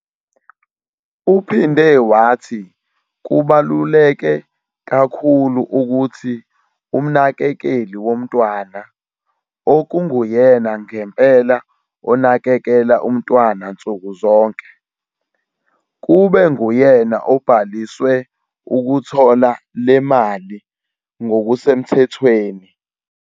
Uphinde wathi kubaluleke kakhulu ukuthi umnakekeli womntwana, okunguyena ngempela onakekela umntwana nsuku zonke, kube nguyena obhaliswe ukuthola le mali ngokusemthethweni.